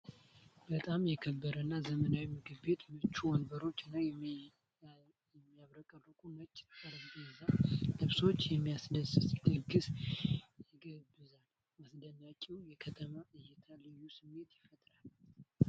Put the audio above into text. በጣም የከበረ እና ዘመናዊ ምግብ ቤት! ምቹ ወንበሮች እና የሚያብረቀርቅ ነጭ የጠረጴዛ ልብስ የሚያስደስት ድግስ ይጋብዛል። አስደናቂው የከተማ እይታ ልዩ ስሜት ይፈጥራል።